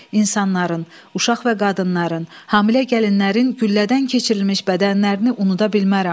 İnsanların, uşaq və qadınların, hamilə gəlinlərin güllədən keçirilmiş bədənlərini unuda bilmərəm.